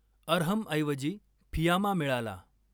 अरहमऐवजी फियामा मिळाला.